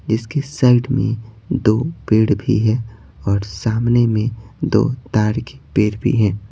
इसके साइड में दो पेड़ भी है और सामने में दो तार के पेड़ भी हैं।